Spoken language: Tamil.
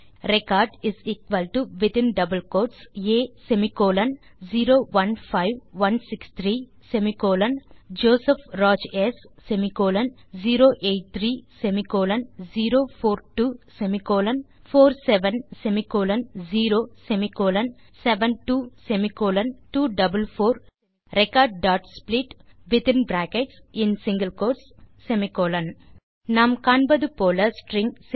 ரெக்கார்ட் a015163ஜோசப் ராஜ் ஸ்08304247072244 recordsplit நாம் காண்பது போல ஸ்ட்ரிங்